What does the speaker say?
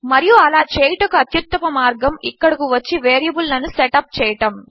మరియు అలా చేయడమునకు అత్యుత్తమ మార్గము ఇక్కడకు వచ్చి వేరియబుల్ లను సెట్ అప్ చేయడము